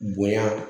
Bonya